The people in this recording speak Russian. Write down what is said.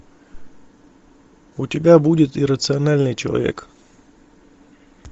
у тебя будет иррациональный человек